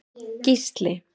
Gísli